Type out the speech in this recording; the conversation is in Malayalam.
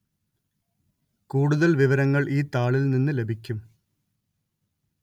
കൂടുതല്‍ വിവരങ്ങള്‍ ഈ താളില്‍ നിന്നു ലഭിക്കും